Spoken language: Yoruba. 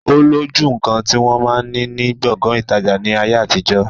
Ó lójú nkan ti wọn máa ni ní Gbọ̀ngán ìtajà ni ayé àtijọ́.